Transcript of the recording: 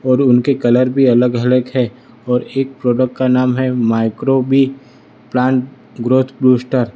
और उनके कलर भी अलग अलग है और एक प्रोडक्ट का नाम है micro V plant growth booster.